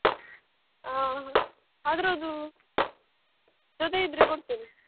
ಹ ಆದ್ರ ಅದೂ ಜೊತೆ ಇದ್ರೆ ಕೊಡ್ತೇನೆ.